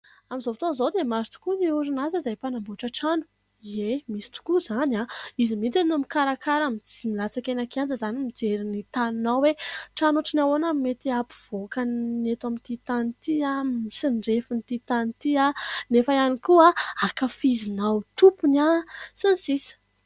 Amin' izao fotoana izao dia maro tokoa ny orinasa izay mpanamboatra trano. Eny, misy tokoa izany izy mihintsy no mikarakara mijery milatsaka eny an-kianja izany mijery ny taninao hoe trano ohatry ny ahoana no mety hahampivoaka ny eto amin' ity tany ity, ny refin' ity tany ity ? Nefa ihany koa ankafizinao tompony sy ny sisa.